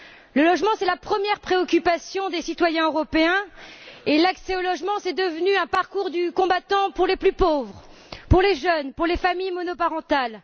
Le logement est la première préoccupation des citoyens européens et l'accès au logement est devenu un parcours du combattant pour les plus pauvres, pour les jeunes, pour les familles monoparentales.